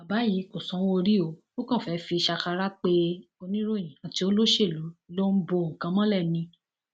bàbá yìí kò sanwóorí ó ó kàn fẹẹ fi ṣàkàrà pé oníròyìn àti olóṣèlú lòún bo nǹkan mọlẹ ni